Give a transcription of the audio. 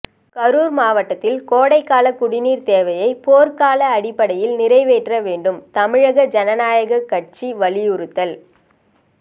கரூர் மாவட்டத்தில் கோடைகால குடிநீர் தேவையை போர்க்கால அடிப்படையில் நிறைவேற்ற வேண்டும் தமிழக ஜனநாயக கட்சி வலியுறுத்தல்